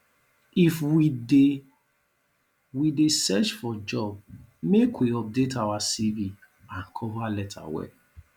if we dey we dey search for job make we update our cv and cover letter well